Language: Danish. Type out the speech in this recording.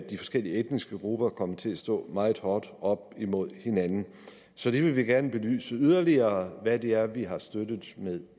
de forskellige etniske grupper kommer til at stå meget hårdt op imod hinanden så vi vil gerne belyse yderligere hvad det er vi har støttet med